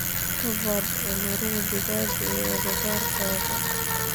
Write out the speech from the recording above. Ka baadh cudurada digaaga ee agagaarkaaga.